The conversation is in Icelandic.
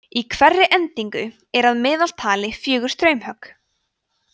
í hverri eldingu eru að meðaltali fjögur straumhögg